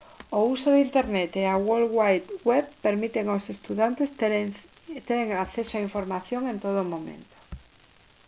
o uso de internet e a world wide web permiten aos estudantes ter acceso á información en todo momento